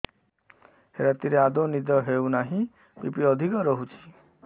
ରାତିରେ ଆଦୌ ନିଦ ହେଉ ନାହିଁ ବି.ପି ଅଧିକ ରହୁଛି